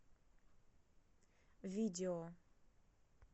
видео